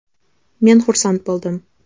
Men xursand bo‘ldim.